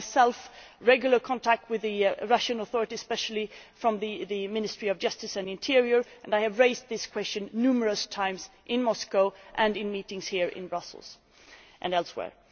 I, myself, have regular contact with the Russian authorities especially from the Ministry of Justice and Interior, and I have raised this question numerous times in Moscow and in meetings here in Brussels and elsewhere.